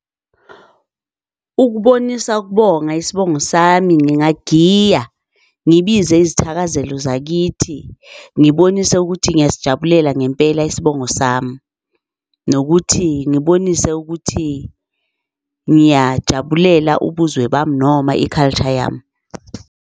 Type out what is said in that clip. Ukubonisa ukubonga isibongo sami, ngingagiya ngibize izithakazelo zakithi, ngibonise ukuthi ngiyasijabulela ngempela isibongo sami, nokuthi ngibonise ukuthi ngiyajabulela ubuzwe bami noma i-culture yami.